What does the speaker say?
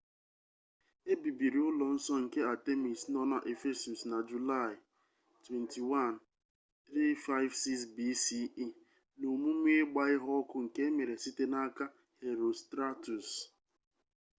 e bibiri ụlọ nsọ nke artemis nọ na ephesus na julaị 21 356 bce n'omume ịgba ihe ọkụ nke emere site n'aka herostratus